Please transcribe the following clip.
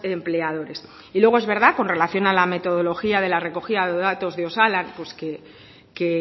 empleadores y luego es verdad con relación a la metodología de la recogida de datos de osalan pues que